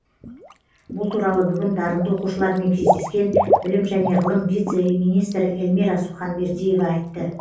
бұл туралы бүгін дарынды оқшылармен кездескен білім және ғылым вице министрі эльмира суханбердиева айтты